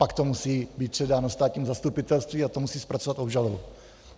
Pak to musí být předáno státnímu zastupitelství a to musí zpracovat obžalobu.